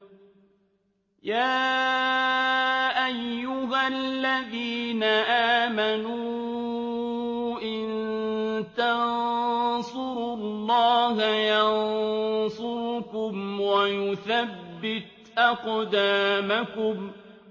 يَا أَيُّهَا الَّذِينَ آمَنُوا إِن تَنصُرُوا اللَّهَ يَنصُرْكُمْ وَيُثَبِّتْ أَقْدَامَكُمْ